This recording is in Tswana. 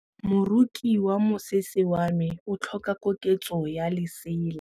Moroki wa mosese wa me o tlhoka koketsô ya lesela.